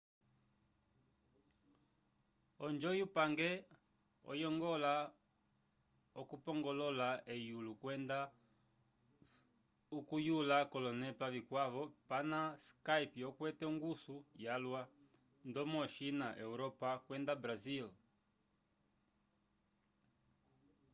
onjo yu pange oyongola okupongolola eyulo kwenda okuyula kolonepa vikwavo pana skype okwete onguso yalwa ndomo o china europa kwenda brasil